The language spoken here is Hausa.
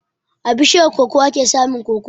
A bishiyar koko ake samun koko.